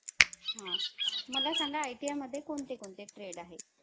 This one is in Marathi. तुम्हांला रीतसर पणे call केला.